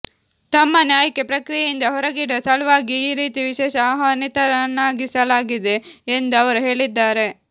ತಮ್ಮನ್ನು ಆಯ್ಕೆ ಪ್ರಕ್ರಿಯೆಯಿಂದ ಹೊರಗಿಡುವ ಸಲುವಾಗಿಯೇ ಈ ರೀತಿ ವಿಶೇಷ ಆಹ್ವಾನಿತನನ್ನಾಗಿಸಲಾಗಿದೆ ಎಂದು ಅವರು ಹೇಳಿದ್ದಾರೆ